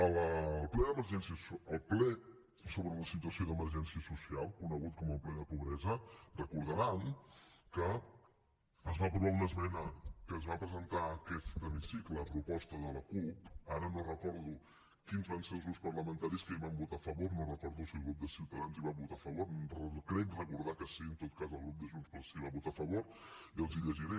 al ple sobre la situació d’emergència social conegut com el ple de la pobresa deuen recordar que es va aprovar una esmena que es va presentar en aquest hemicicle a proposta de la cup ara no recordo quins van ser els grups parlamentaris que hi van votar a favor no recordo si el grup de ciutadans hi va votar a favor crec recordar que sí en tot cas el grup de junts pel sí hi va votar a favor i els la llegiré